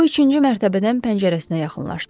O üçüncü mərtəbədən pəncərəsinə yaxınlaşdı.